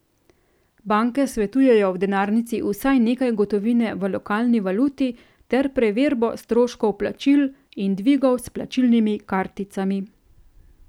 Banke svetujejo v denarnici vsaj nekaj gotovine v lokalni valuti ter preverbo stroškov plačil in dvigov s plačilnimi karticami.